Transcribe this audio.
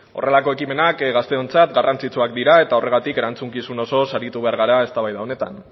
horrelako ekimenak gazteontzat garrantzitsuak dira eta horregatik erantzukizun osoz aritu behar gara eztabaida honetan